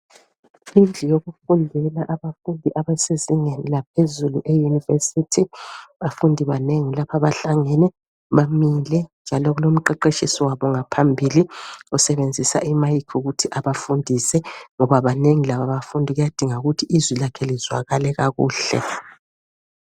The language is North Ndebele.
Indlu yokufundela abafundi abesezingeni laphezulu e university. Bafundi banengi lapha bahlangene, bamile njalo kulomqeqeshisi wabo ngaphambili ,osebenzisa imayikhi ukuthi abafundise. Ngoba banengi laba bafundi kuyadinga ukuthi izwi lakhe lizwakale kakuhle.